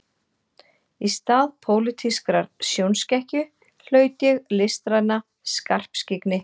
Í stað pólitískrar sjónskekkju hlaut ég listræna skarpskyggni